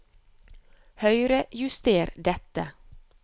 Høyrejuster dette